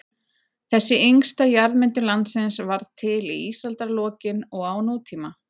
Þessi yngsta jarðmyndun landsins varð til í ísaldarlokin og á nútíma.